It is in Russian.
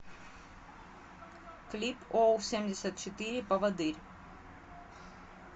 клип оу семьдесят четыре поводырь